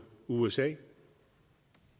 usa